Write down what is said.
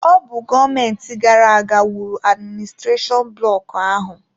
Ọ bụ gọọmenti gara aga wuru adiministrashonụ bloku ahụ.